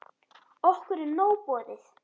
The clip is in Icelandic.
Okkur er nóg boðið